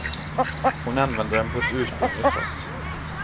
Hon använder dem på ett ursprungligt sätt.